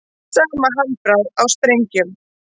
Sama handbragð á sprengjum